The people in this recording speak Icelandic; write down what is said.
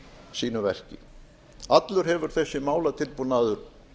sínu verki allur hefur þessi málatilbúnaður